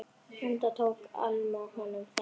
Enda tók Alma honum þannig.